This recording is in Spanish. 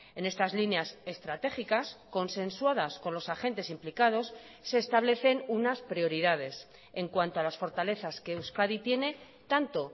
en estas líneas estratégicas consensuadas con los agentes implicados se establecen unas prioridades en cuanto a las fortalezas que euskadi tiene tanto